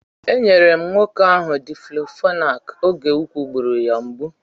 E nyere m nwoke ahụ Diklofenak oge úkwù gburu ya mgbu.